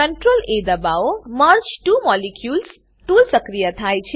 merge two molecules merge two molecules tool સક્રિય થાય છે